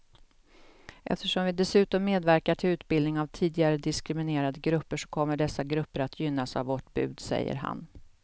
Eftersom vi dessutom medverkar till utbildning av tidigare diskriminerade grupper så kommer dessa grupper att gynnas av vårt bud, säger han.